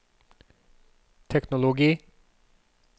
teknologi